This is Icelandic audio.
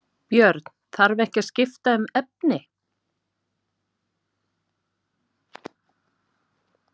Björn: Þarf ekki að skipta um efni?